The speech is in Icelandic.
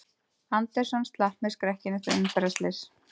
Anderson slapp með skrekkinn eftir umferðarslys